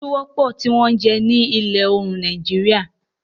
Isu wọ́pọ̀ tí wọ́n ń jẹ ní ìlà oòrùn Nàìjíríà.